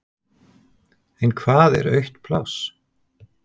En hvað er autt pláss?